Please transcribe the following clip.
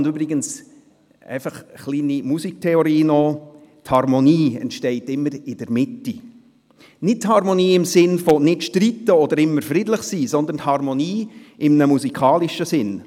Und kurz etwas Musiktheorie: Die Harmonie entsteht übrigens immer in der Mitte, nicht die Harmonie im Sinn von nicht streiten oder immer friedlich sein, sondern die Harmonie in einem musikalischen Sinn.